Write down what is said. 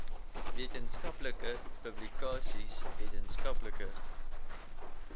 wetenskaplike publikasies wetenskaplike